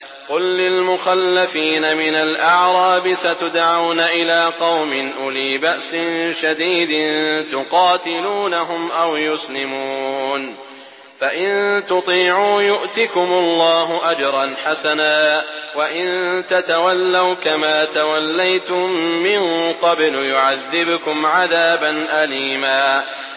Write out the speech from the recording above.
قُل لِّلْمُخَلَّفِينَ مِنَ الْأَعْرَابِ سَتُدْعَوْنَ إِلَىٰ قَوْمٍ أُولِي بَأْسٍ شَدِيدٍ تُقَاتِلُونَهُمْ أَوْ يُسْلِمُونَ ۖ فَإِن تُطِيعُوا يُؤْتِكُمُ اللَّهُ أَجْرًا حَسَنًا ۖ وَإِن تَتَوَلَّوْا كَمَا تَوَلَّيْتُم مِّن قَبْلُ يُعَذِّبْكُمْ عَذَابًا أَلِيمًا